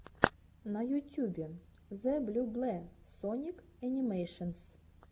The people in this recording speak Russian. на ютюбе зэблюбле соник энимэйшенс